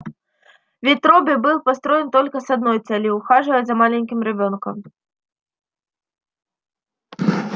ведь робби был построен только с одной целью ухаживать за маленьким ребёнком